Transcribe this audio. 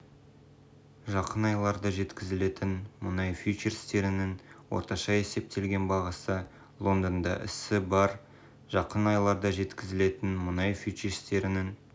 жақын айларда жеткізілетін мұнай фьючерстерінің орташа есептеген бағасы лондонда ісі барр жақын айларда жеткізілетін мұнай фьючерстерінің